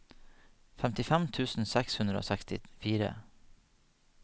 femtifem tusen seks hundre og sekstifire